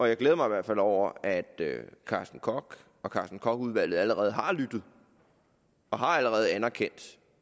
jeg glæder mig i hvert fald over at carsten koch og carsten koch udvalget allerede har lyttet og allerede har anerkendt